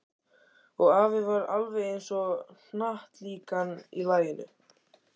Og afi var alveg eins og hnattlíkan í laginu.